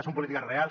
són polítiques reals